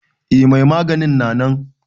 Eh mai maganin na nan.